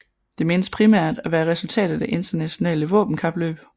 Det menes primært at være et resultat af det internationale våbenkapløb